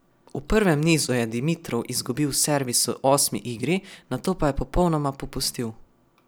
V prvem nizu je Dimitrov izgubil servis v osmi igri, nato pa je popolnoma popustil.